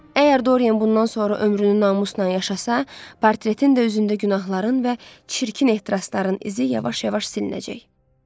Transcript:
Əgər Doryan bundan sonra ömrünü namusla yaşasa, portretin də üzündə günahların və çirkin ehtirasların izi yavaş-yavaş silinəcək.